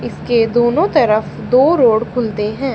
इसके दोनों तरफ दो रोड खुलते हैं।